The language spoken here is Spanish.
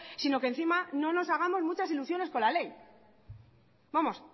sino que encima no nos hagamos muchas ilusiones con la ley vamos